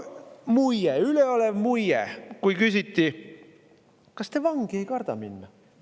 Muie, üleolev muie, kui küsiti, kas te vangi ei karda minna.